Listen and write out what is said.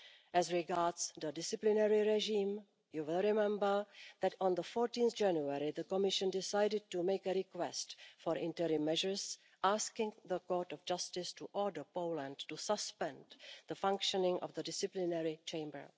As regards the disciplinary regime, you will remember that on 14 January the Commission decided to make a request for interim measures, asking the Court of Justice to order Poland to suspend the functioning of the disciplinary chamber.